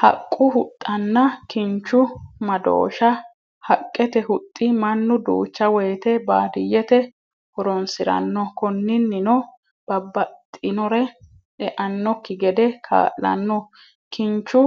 Haqu huxanna, kinchu madoosha, haqqete huxxi manu duucha woyite baadiyete horonsiranno, koninnino babaxinori e'anokki gede kaalano, kinchu